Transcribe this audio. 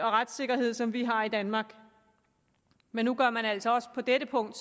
og retssikkerhed som vi har i danmark men nu gør man altså også på dette punkt